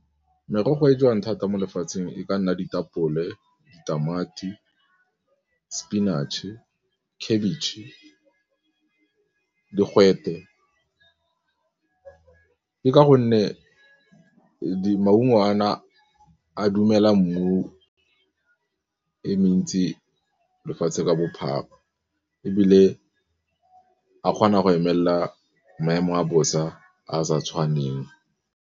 Merogo e jewang thata mo lefatsheng e ka nna ditapole, ditamati, sepinatšhe, khabetšhe, digwete, ke ka gonne maungo a na a dumela mmu e mentsi lefatshe ka bophara ebile a kgona go emela maemo a bosa a a sa tshwaneng.